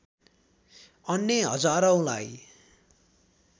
अन्य हजारौंलाई